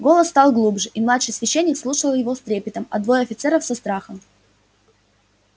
голос стал глубже и младший священник слушал его с трепетом а двое офицеров со страхом